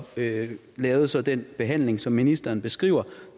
lavede så den behandling som ministeren beskriver og